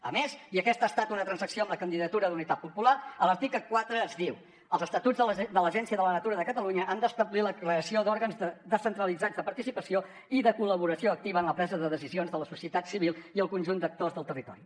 a més i aquesta ha estat una transacció amb la candidatura d’unitat popular a l’article quatre es diu els estatuts de l’agència de la natura de catalunya han d’establir la creació d’òrgans descentralitzats de participació i de col·laboració activa en la presa de decisions de la societat civil i el conjunt d’actors del territori